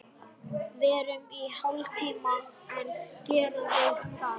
Verum í hálftíma enn, gerðu það.